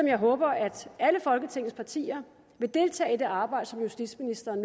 jeg håber at alle folketingets partier vil deltage i det arbejde som justitsministeren